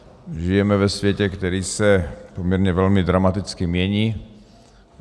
Žijeme ve světě, který se poměrně velmi dramaticky mění.